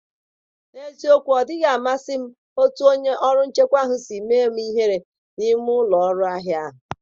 N’eziokwu, odịghị amasị m otú onye ọrụ nchekwa ahụ si mee m ihere n’ime ụlọ ahịa ahụ.